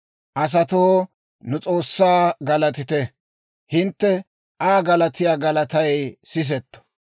Asatoo, nu S'oossaa galatite; hintte Aa galatiyaa galatay sisetto.